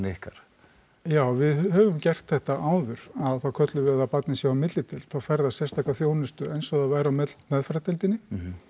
ykkar já við höfum gert þetta áður að þá köllum við það að barnið sé á millideild þá fær það sérstaka þjónustu eins og það væri á meðferðardeildinni